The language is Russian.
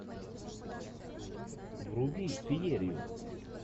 вруби феерию